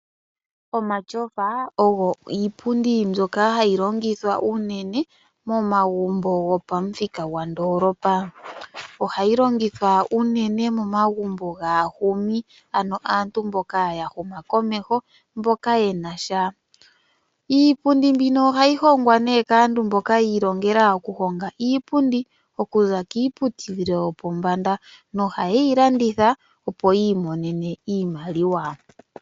Omatyofa ogo iipundi mbyoka hayi longithwa unene momagumbo gopamuthika gwandoolopa. Ohayi longithwa unene momagumbo gaahumi ano aantu mboka ya huma komeho, mboka yena sha. Iipundi mbino ohayi hongwa nee kaantu mboka yi ilongela okuhonga iipundi okuza kiiputudhilo yopombanda nohayeyi landitha opo yi imonene iimaliwa.